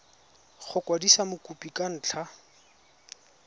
go kwadisa mokopi ka ntlha